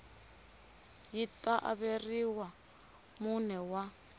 yi ta averiwa mune wa